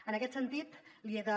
en aquest sentit li he de